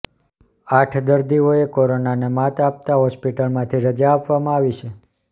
આઠ દર્દીઓએ કોરોનાને માત આપતા હોસ્પિટલમાંથી રજા આપવામાં આવી છે